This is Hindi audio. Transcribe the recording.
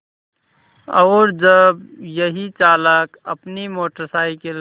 और जब यही चालक अपनी मोटर साइकिल